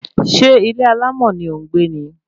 Ṣé ilé alámọ̀ ni ò ń gbé ni?